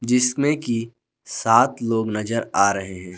जिसमें की सात लोग नजर आ रहे हैं।